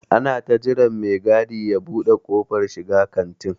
Ana ta jiran me gadi ya ɓude kofar shiga kantin.